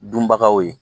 Dunbagaw ye